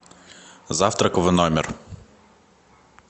завтрак в номер